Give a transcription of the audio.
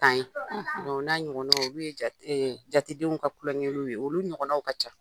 Tan ye o n'a ɲɔgɔn olu ye ja jatedenw ka kulonkɛniw ye olu ɲɔgɔnw ka ca.